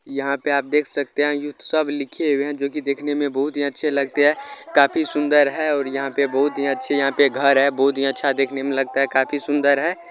यहाँ पे आप देख सकते है उत्सव लिखें हुए है जो कि देखने में बहुत ही अच्छे लगते है काफी सुन्दर है और यहाँ पे बहुत ही अच्छी यहाँ पे घर है बहुत ही अच्छा देखने में लगता है काफी सुन्दर है।